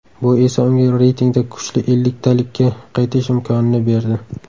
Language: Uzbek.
Bu esa unga reytingda kuchli elliktalikka qaytish imkonini berdi.